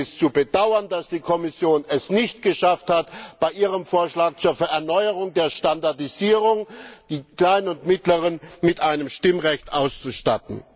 Es ist zu bedauern, dass die Kommission es nicht geschafft hat, bei ihrem Vorschlag zur Erneuung der Standardisierung die kleinen und mittleren Unternehmen mit einem Stimmrecht auszustatten.